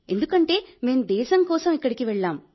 ఎందుకంటే మేం దేశం కోసం అక్కడికి వెళ్ళాం